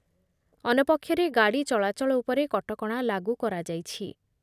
ଅନ୍ୟପକ୍ଷରେ ଗାଡ଼ି ଚଳାଚଳ ଉପରେ କଟକଣା ଲାଗୁ କରାଯାଇଛି ।